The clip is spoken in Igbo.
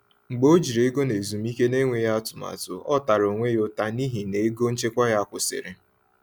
Mgbe o jiri ego n’ezumike n’enweghị atụmatụ, ọ tara onwe ya ụta n’ihi na ego nchekwa ya kwụsịrị.